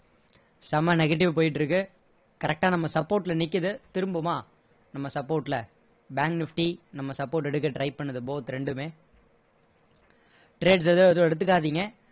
செம்ம negative போயிட்டு இருக்கு correct டா நம்ம support ல நிக்குது திரும்புமா நம்ம support ல bank nifty நம்ம support எடுக்க try பண்ணுது both ரெண்டுமே trades எதுவும் எதுவும் எடுத்துக்காதீங்க